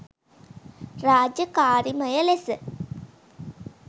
රාජකාරිමය ලෙස